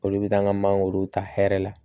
Olu bɛ taa an ka mangoro ta hɛrɛ la